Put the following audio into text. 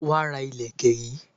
Wá ra Ìlẹ̀kẹ̀ yi